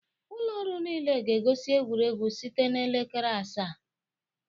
Ụlọ ọrụ niile ga-egosi egwuregwu site na elekere asaa